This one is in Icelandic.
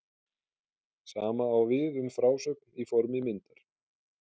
Sama á við um frásögn í formi myndar.